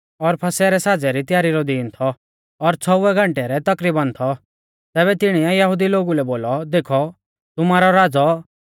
एऊ फसह रै साज़ै री त्यारी रौ दीन थौ और छ़ौउऐ घंटै रै तकरीबन थौ तैबै तिणीऐ यहुदी लोगु लै बोलौ देखौ तुमारौ राज़ौ